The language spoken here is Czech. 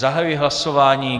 Zahajuji hlasování.